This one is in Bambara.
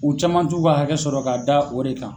U caman t'u ka hakɛ sɔrɔ k'a da o de kan.